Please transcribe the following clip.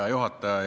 Hea juhataja!